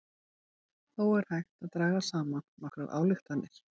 Þó er hægt að draga saman nokkrar ályktanir.